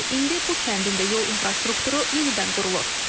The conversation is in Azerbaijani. İndi bu kəndin də yol infrastrukturu yenidən qurulur.